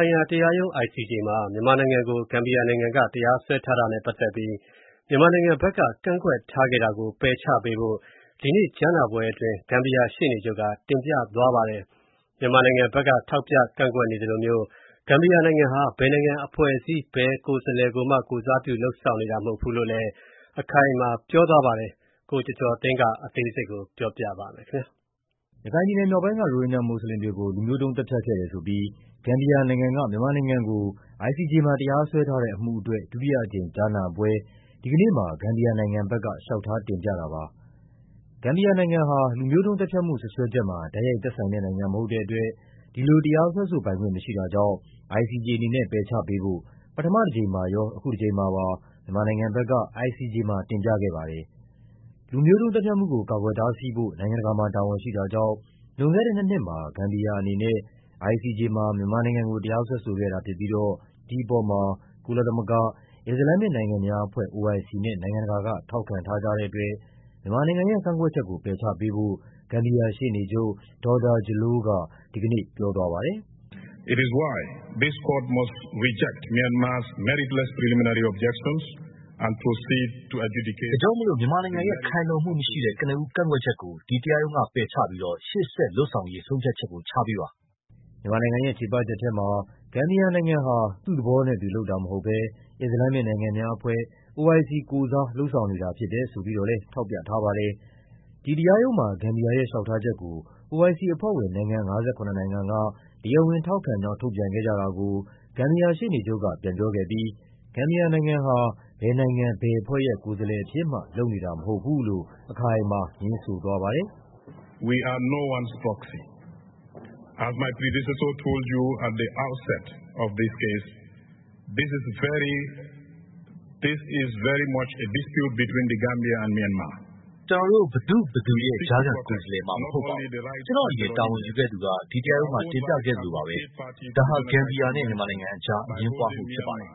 ိုင်ငံတကာတရားရုံး မှာ မြန်မာနိုင်ငံကို ဂမ်ဘီယာနိုင်ငံက တရားစွဲထားတာနဲ့ပတ်သက်ပြီး မြန်မာနိုင်ငံဘက်က ကန့်ကွက်ထားတာကို ပယ်ချပေးဖို့ ဒီကနေ့ကြားနာပွဲအတွင်း ဂမ်ဘီယာရှေ့နေချုပ်က ICJ မှာ တင်ပြသွားပါတယ်။ မြန်မာနိုင်ငံဘက်က ထောက်ပြကန့်ကွက်နေသလိုမျိုး ဂမ်ဘီယာနိုင်ငံဟာ ဘယ်နိုင်ငံ ဘယ်အဖွဲ့အစည်းကိုယ်စားမှ လုပ်ဆောင်နေတာမဟုတ်ဘူးလို့လည်း အခိုင်အမာ ပြောသွားပါတယ်။ ကိုကျော်ကျော်သိန်းက တင်ပြပေးထားပါတယ်။ ရခိုင်ပြည်နယ်မြောက်ပိုင်းက ရိုဟင်ဂျာမွတ်ဆလင်တွေကို လူမျိုးတုံးသတ်ဖြတ်ခဲ့တယ်ဆိုပြီး ဂမ်ဘီယာနိုင်ငံက မြန်မာနိုင်ငံကို ICJ မှာ တရားစွဲထားတဲ့အမှုအတွက် ဒီကနေ့မှာ ဂမ်ဘီယာနိုင်ငံဘက်က လျှောက်ထားတင်ပြတာပါ။ ဂမ်ဘီယာနိုင်ငံဟာ လူမျိုးတုံးသတ်ဖြတ်မှု စွပ်စွဲချက်မှာ တိုက်ရိုက်သက်ဆိုင်တဲ့နိုင်ငံမဟုတ်တဲ့အတွက် ဒီလိုတရားစွဲဆိုပိုင်ခွင့်မရှိ တာကြောင့် ICJ အနေနဲ့ ပယ်ချပေးဖို့ ပထမတကြိမ်မှာရော အခုတကြိမ်မှာပါ မြန်မာနိုင်ငံဘက်က ICJ မှာ တင်ပြခဲ့ပါတယ်။ လူမျိုးတုံးသတ်ဖြတ်မှုကို ကာကွယ်တားဆီးဖို့ နိုင်ငံတကာမှာ တာဝန်ရှိတာကြောင့် လွန်ခဲ့တဲ့နှစ်နှစ်မှာ ဂမ်ဘီယာအနေနဲ့ ICJ မှာ မြန်မာနိုင်ငံကို တရားစွဲဆိုခဲ့တာဖြစ်ပြီးတော့ ဒီအပေါ်မှာ ကုလသမဂ္ဂ၊ အစ္စလာမ်မစ်နိုင်ငံများအဖွဲ့ နဲ့ နိုင်ငံတကာက ထောက်ခံထားကြတဲ့အတွက် မြန်မာနိုင်ငံရဲ့ ကန့်ကွက်ချက်ကို ပယ်ချပေးဖို့ ဂမ်ဘီယာရှေ့နေချုပ် Dawda Jallow က ဒီကနေ့ ပြောသွား ပါတယ်။ “ဒါကြောင့် မြန်မာနိုင်ငံရဲ့ ခိုင်လုံမှုမရှိတဲ့ ကနဦးကန့်ကွက်ချက်ကို ဒီတရားရုံးကပယ်ချပြီး ရှေ့ဆက်လုပ်ဆောင်ရေး ဆုံးဖြတ်ချက် ချပေးပါ။” မြန်မာနိုင်ငံရဲ့ချေပချက်ထဲမှာ ဂမ်ဘီယာနိုင်ငံဟာ သူ့သဘောနဲ့သူလုပ်တာမဟုတ်ဘဲ အစ္စလမ်မစ်နိုင်ငံများအဖွဲ့ ကိုယ်စား လုပ်ဆောင်နေတာဖြစ်တယ်ဆိုပြီးတော့လည်း ထောက်ပြထားပါတယ်။ ဒီတရားရုံးမှာ ဂမ်ဘီယာရဲ့လျှောက်ထားချက်ကို OIC အဖွဲ့ဝင် နိုင်ငံ ၅၇ နိုင်ငံက တရားဝင်ထောက်ခံကြောင်း ထုတ်ပြန်ခဲ့ကြတာ ကို ဂမ်ဘီယာရှေ့နေချုပ်က ပြန်ပြောခဲ့ပြီး ဂမ်ဘီယာနိုင်ငံဟာ ဘယ်နိုင်ငံ ဘယ်အဖွဲ့ရဲ့ ကိုယ်စားလှယ်အဖြစ်မှ လုပ်နေတာ မဟုတ်ဘူးလို့ အခိုင်အမာ ငြင်းဆိုသွားပါတယ်။ “ကျနော်တို့ဟာ ဘယ်သူ့ဘယ်သူရဲ့ ကြားခံကိုယ်စားလှယ်မှ မဟုတ်ပါဘူး။ ကျနော့်အရင်တာဝန်ယူခဲ့သူက ဒီတရားရုံးမှာ တင်ပြခဲ့သလိုပါပဲ။ ဒါဟာ ဂမ်ဘီယာနဲ့ မြန်မာနိုင်ငံအကြား အငြင်းပွားမှုဖြစ်ပါတယ်။